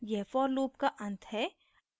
यह for loop का अंत है